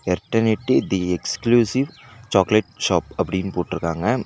Eternity the exclusive chocolate shop அப்டினு போட்ருக்காங்க.